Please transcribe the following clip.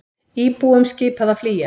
Íbúum skipað að flýja